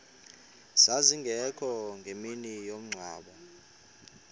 zazingekho ngemini yomngcwabo